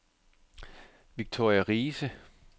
Victoria Riise